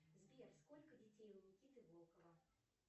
сбер сколько детей у никиты волкова